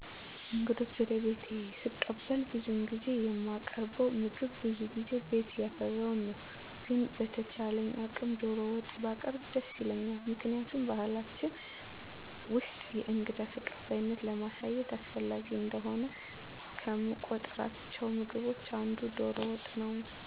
እንግዶችን ወደ ቤቴ ሰቀበል ብዙውን ጊዜ የማቀርበዉ ምግብ በዙ ጊዜ ቤት ያፈራዉን ነዉ። ግን በተቻለኝ አቅም ዶሮ ወጥ ባቀረቡ ደስ ይለኛል ምክንያቱም በባሕላችን ውስጥ የእንግዳ ተቀባይነትን ለማሳየት አስፈላጊ እንደሆነ ከምቆጥሯቸው ምግቦች አንዱ ዶሮ ወጥ ነወ